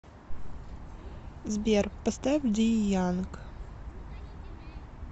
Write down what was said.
сбер поставь дие янг